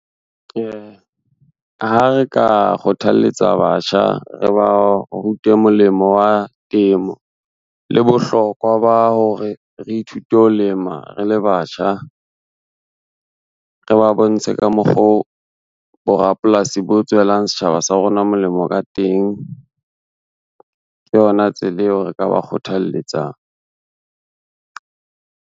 Ha re ka kgothaletsa batjha, re ba rute molemo wa temo, le bohlokwa ba hore re ithute ho lema re le batjha. Re ba bontshe ka mokgoo borapolasi bo tswelang setjhaba sa rona molemo ka teng, ke yona tsela eo re ka ba kgothalletsang.